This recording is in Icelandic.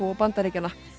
og Bandaríkjanna